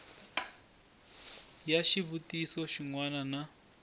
ya xivutiso xin wana na